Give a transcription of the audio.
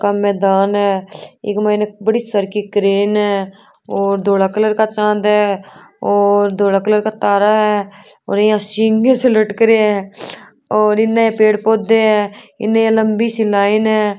मैदान है एके मायने बड़ी सरकी क्रेन है और अ धोला कलर का चाँद है और अ धोरा कलर का तारा है और ये सिंवे से लटक्रिया है और ने पेड़ पोधे है इने लम्बी लाइन है।